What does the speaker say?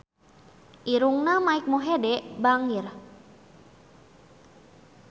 Irungna Mike Mohede bangir